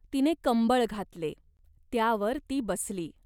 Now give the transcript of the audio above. तिने कंबळ घातले. त्यावर ती बसली.